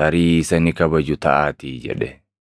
tarii isa ni kabaju taʼaatii’ jedhe.